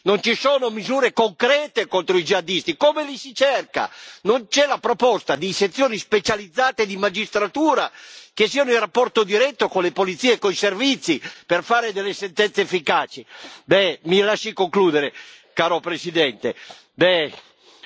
Non c'è la proposta di sezioni specializzate di magistratura che siano in rapporto diretto con le polizie e coi servizi per fare delle sentenze efficaci. Mi lasci concludere, caro Presidente, bisogna avere il coraggio di prendere misure serie.